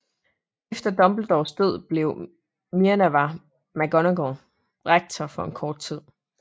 Efter Dumbledores død bliver Minerva McGonagall rektor for en kort tid